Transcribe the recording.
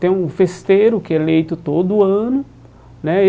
Tem um festeiro que é eleito todo ano né.